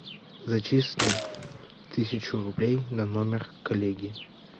зачисли тысячу рублей на номер коллеги